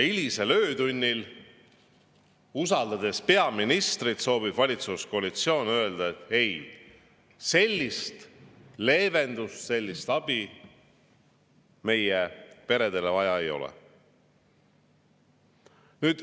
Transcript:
Hilisel öötunnil, usaldades peaministrit, soovib valitsuskoalitsioon öelda, et sellist leevendust, sellist abi meie peredele vaja ei ole.